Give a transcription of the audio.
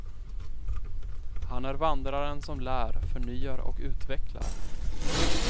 Han är vandraren som lär, förnyar och utvecklar.